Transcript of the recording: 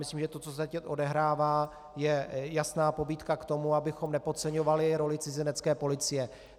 Myslím, že to, co se teď odehrává, je jasná pobídka k tomu, abychom nepodceňovali roli Cizinecké policie.